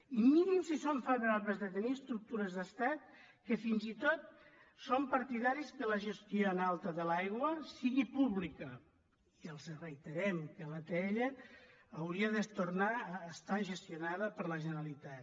i mirin si som favorables a tenir estructures d’estat que fins i tot som partidaris que la gestió en alta de l’aigua sigui pública i els reiterem que l’atll hauria de tornar a estar gestionada per la generalitat